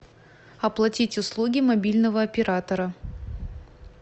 оплатить услуги мобильного оператора